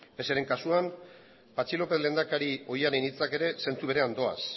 pse ren kasuan patxi lópez lehendakari ohiaren hitzak ere zentzu berean doaz